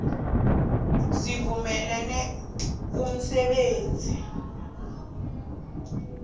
sivumele umsebenzi wamahlathi